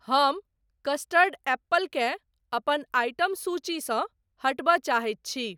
हम custard apple केँ अपन आइटम सूचीसँ हटबय चाहैत छी।